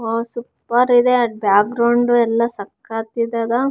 ಹಾಗೆ ಇದು ದೊಡ್ಡದಾಗಿ ಸ್ಟೆಜ್‌ ಸಹಿತ ಹಾಕಿದ್ದಾರೆ.